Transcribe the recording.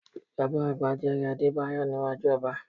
Bàbá àgbà jẹ́rìí Adébáyọ̀ níwájú ọba